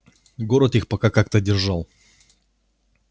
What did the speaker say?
город их пока как-то держал